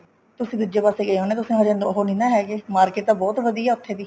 ਤੁਸੀਂ ਦੂਜੇ ਪਾਸੇ ਗਏ ਹੋਣੇ ਤੁਸੀਂ ਅਜੇ ਅੰਦਰ ਉਹ ਨਹੀਂ ਨਾ ਹੈਗੇ market ਤਾਂ ਬਹੁਤ ਵਧੀਆ ਹੈ ਉੱਥੇ ਦੀ